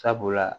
Sabula